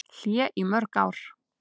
Hlé í mörg ár